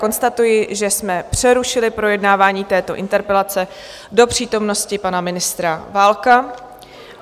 Konstatuji, že jsme přerušili projednávání této interpelace do přítomnosti pana ministra Válka.